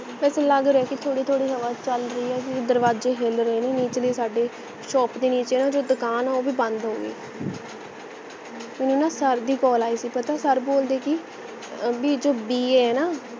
ਵੈਸੇ ਲਗ ਰਿਹਾ ਹੈ ਕਿ ਥੋੜੀ ਥੋੜੀ ਹਵਾ ਚਲ ਰਹੀ ਹੈ ਕਿਉਂਕਿ ਦਰਵਾਜੇ ਹਿਲ ਰਹੇ ਨੇ ਨਿਚਲੇ ਸਾਡੇ shop ਦੇ ਨੀਚੇ ਜੋ ਦੁਕਾਨ ਹੈ ਨਾ ਉਹ ਭੀ ਬੰਦ ਹੋਗੀ ਮੈਨੂੰ ਨਾ sir ਦੀ call ਆਈ ਸੀ ਪਤਾ ਹੈ sir ਬੋਲਦੇ ਕਿ ਬੀ ਜੋ BA ਹੈ ਨਾ